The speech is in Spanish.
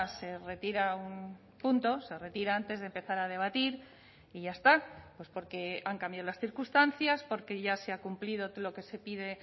se retira un punto se retira antes de empezar a debatir y ya está pues porque han cambiado las circunstancias porque ya se ha cumplido lo que se pide